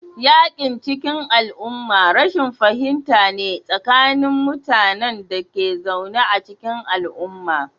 Yakin cikin al'umma rashin fahimta ne tsakanin mutanen da ke zaune a cikin al'umma